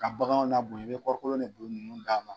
Ka baganw nabonya i bɛ kɔɔrikolo de don ninnu da.